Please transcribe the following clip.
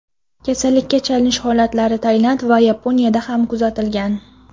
Kasallikka chalinish holatlari Tailand va Yaponiyada ham kuzatilgan.